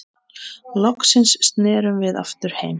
Loksins snerum við aftur heim.